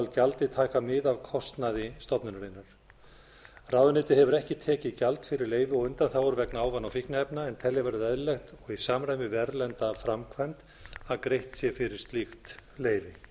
gjaldið taka mið af kostnaði stofnunarinnar ráðuneytið hefur ekki tekið gjald fyrir leyfi og undanþágur vegna ávana og fíkniefna en telja verður eðlilegt og í samræmi við erlenda framkvæmd að greitt sé fyrir slíkt leyfi